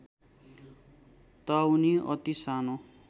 ताउनि अति सानो